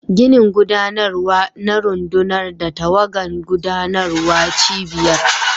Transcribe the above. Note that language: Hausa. Ginin gudanarwa na rundunar da tawagan gudanarwar cibiyar.